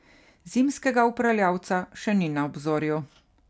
Zimskega upravljavca še ni na obzorju.